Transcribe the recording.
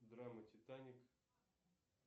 драма титаник